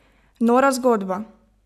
Nora zgodba!